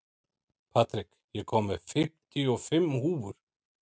Patrik, ég kom með fimmtíu og fimm húfur!